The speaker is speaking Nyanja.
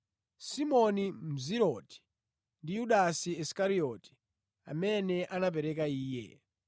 Simoni Mzerote ndi Yudasi Isikarioti, amene anamupereka Iye.